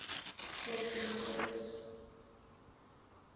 fourth string quartets